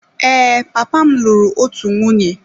Ee, papa m lụrụ otu nwunye.